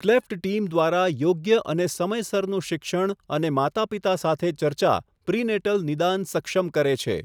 Cleft team દ્વારા યોગ્ય અને સમયસરનું શિક્ષણ અને માતાપિતા સાથે ચર્ચા પ્રિનેટલ નિદાન સક્ષમ કરે છે.